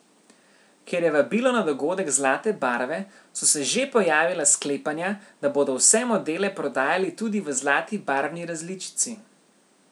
Ker je vabilo na dogodek zlate barve, so se že pojavila sklepanja, da bodo vse modele prodajali tudi v zlati barvni različici.